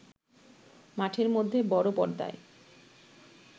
মাঠের মধ্যে বড় পর্দায়